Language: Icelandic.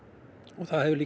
það